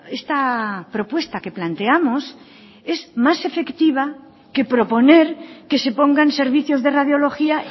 esta propuesta que planteamos es más efectiva que proponer que se pongan servicios de radiología